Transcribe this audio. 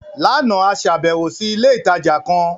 Lánàá, a ṣàbẹ̀wò sí ilé ìtajà ìtàn kan